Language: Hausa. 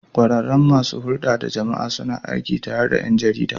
Kwararrun masu hulɗar da jama'a suna aiki tare da 'yan jarida.